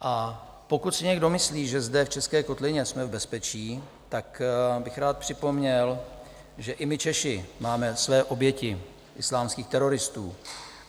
A pokud si někdo myslí, že zde, v české kotlině, jsme v bezpečí, tak bych rád připomněl, že i my Češi máme své oběti islámských teroristů.